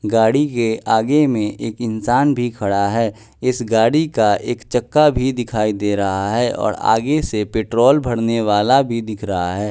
गाड़ी के आगे में एक इंसान भी खड़ा है इस गाड़ी का एक चक्का भी दिखाई दे रहा है और आगे से पेट्रोल भरने वाला भी दिख रहा है।